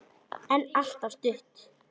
En alltof stutt.